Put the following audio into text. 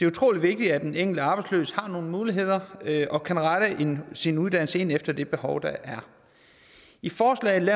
utrolig vigtigt at den enkelte arbejdsløse har nogle muligheder og kan rette sin sin uddannelse ind efter det behov der er i forslaget